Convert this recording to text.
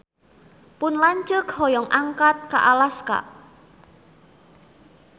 Pun lanceuk hoyong angkat ka Alaska